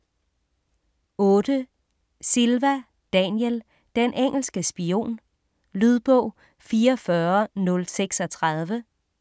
8. Silva, Daniel: Den engelske spion Lydbog 44036